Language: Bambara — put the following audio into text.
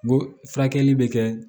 N ko furakɛli bɛ kɛ